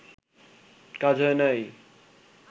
কাজ হয় নাই